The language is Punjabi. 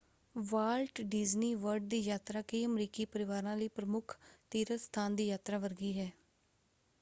ਵਾਲਟ ਡੀਜ਼ਨੀ ਵਰਲਡ ਦੀ ਯਾਤਰਾ ਕਈ ਅਮਰੀਕੀ ਪਰਿਵਾਰਾਂ ਲਈ ਪ੍ਰਮੁੱਖ ਤੀਰਥਸਥਾਨ ਦੀ ਯਾਤਰਾ ਵਰਗੀ ਹੈ।